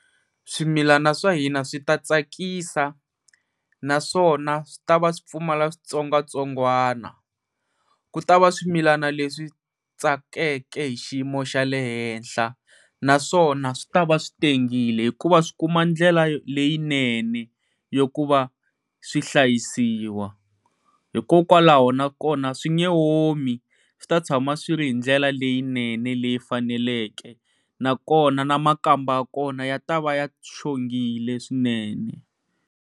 Swimilana swa hina swi ta tsakisa naswona swi ta va swi pfumala switsongwatsongwana ku ta va swimilana leswi tsakeke hi xiyimo xa le henhla naswona swi ta va swi tengile hikuva swi kuma ndlela leyinene ya ku va swihlayisiwa. Hikokwalaho na kona swi nge omi swi ta tshama swi ri hi ndlela leyinene leyi faneleke na kona na makamba ya kona ya ta va ya xongile swinene.